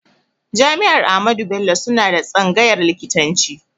Jami'ar Ahmadu Bello suna da tsangayn likitanci